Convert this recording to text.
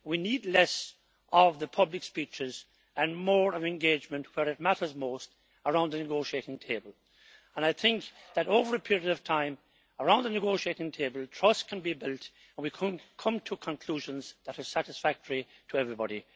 We need less of the public speeches and more engagement where it matters most around the negotiating table. I think that, over a period of time, around the negotiating table, trust can be built and we can come to conclusions that are satisfactory to everybody.